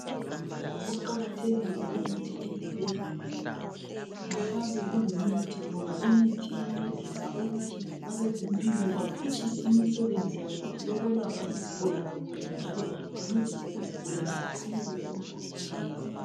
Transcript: Kuqakathekile ukuthi ezibhedlela kuhlale kulemithi ngoba imithi iyancedisa ukuthi abezempilo baphutshise imisebenzi yabo yokwelapha izigulane kuhle njalo bancedise izigulane ziphumelele emikhuhlaneni yabo.